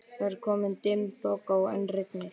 Það er komin dimm þoka og enn rignir.